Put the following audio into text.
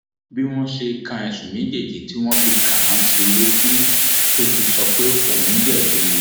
bí wọn ṣe ka ẹsùn méjèèjì tí wọn fi kàn án sí i létí ló ti sọ pé òun jẹbi